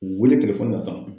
U wele na sa.